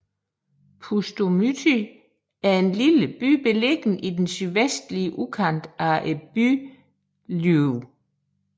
Pustomyty er en lille by beliggende i den sydvestlige udkant af byen Lviv